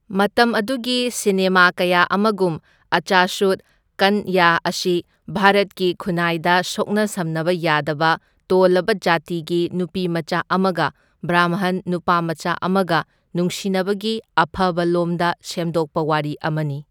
ꯃꯇꯝ ꯑꯗꯨꯒꯤ ꯁꯤꯅꯦꯃꯥ ꯀꯌꯥ ꯑꯃꯒꯨꯝ, ꯑꯆꯁꯨꯠ ꯀꯟꯌꯥ ꯑꯁꯤ ꯚꯥꯔꯠꯀꯤ ꯈꯨꯟꯅꯥꯏꯗ ꯁꯣꯛꯅ ꯁꯝꯅꯕ ꯌꯥꯗꯕ ꯇꯣꯜꯂꯕ ꯖꯥꯇꯤꯒꯤ ꯅꯨꯄꯤꯃꯆꯥ ꯑꯃꯒ ꯕ꯭ꯔꯥꯝꯍꯟ ꯅꯨꯄꯥꯃꯆꯥ ꯑꯃꯒ ꯅꯨꯡꯁꯤꯅꯕꯒꯤ ꯑꯐꯕ ꯂꯣꯝꯗ ꯁꯦꯝꯗꯣꯛꯄ ꯋꯥꯔꯤ ꯑꯃꯅꯤ꯫